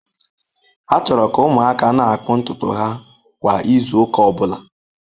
A chọrọ ka ụmụaka na-akpụ ntutu ha kwa izu ụka ọ bụla.